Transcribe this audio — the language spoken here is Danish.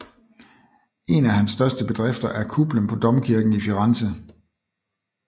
En af hans største bedrifter er kuplen på domkirken i Firenze